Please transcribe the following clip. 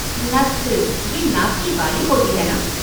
नथ, ये नाक की बाली होती है ना?